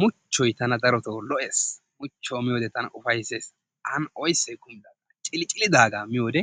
Muchoy tana darotto lo'ees, muchuwaa miyoo wodee tana ufaysess oysaay kumidoga cilicilidaga miyowode